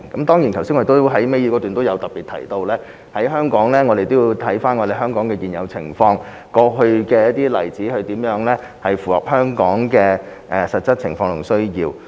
當然，我剛才在倒數第二段也特別提及，我們必須審視香港的現有情況和過去的例子，看看如何能符合香港的實質情況和需要。